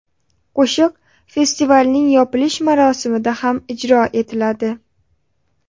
Qo‘shiq festivalning yopilish marosimida ham ijro etiladi.